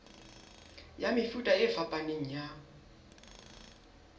ya mefuta e fapaneng ya